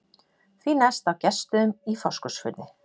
Því næst á Gestsstöðum í Fáskrúðsfirði.